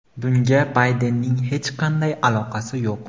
Bunga Baydenning hech qanday aloqasi yo‘q.